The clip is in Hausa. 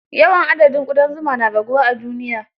Yawan adadin ƙudan zuma na raguwa a duniya.